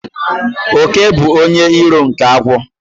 Òké bụ onye iro nke agwọ